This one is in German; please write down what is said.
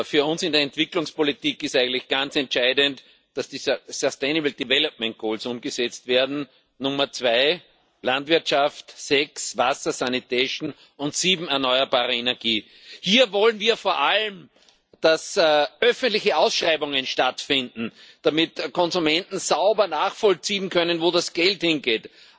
Für uns in der Entwicklungspolitik ist eigentlich ganz entscheidend, dass diese umgesetzt werden Ziel 2 Landwirtschaft, Ziel 6 Wasser, und Ziel 7 erneuerbare Energie. Hier wollen wir vor allem, dass öffentliche Ausschreibungen stattfinden, damit die Konsumenten sauber nachvollziehen können, wo das Geld hingeht.